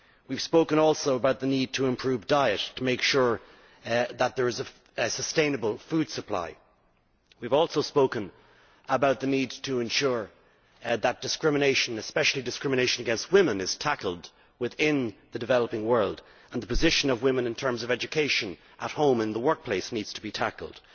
We have also spoken about the need to improve diet, to make sure that there is a sustainable food supply. We have also spoken about the need to ensure that discrimination, especially discrimination against women, is tackled within the developing world, and the position of women in terms of education at home and in the workplace also needs to be tackled.